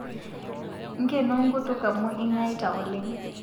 Ng'eno nkutuk amu ingaita oleng